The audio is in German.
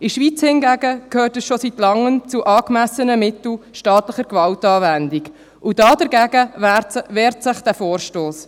In der Schweiz hingegen gehört das schon seit Langem zu den angemessenen Mitteln staatlicher Gewaltanwendung, und dagegen wehrt sich dieser Vorstoss.